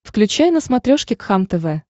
включай на смотрешке кхлм тв